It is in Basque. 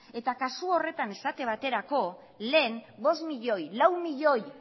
eta kasu horretan esate baterako lehen bostmilioi lau milioi